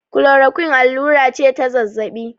klorakuin allura ce ta zazzabi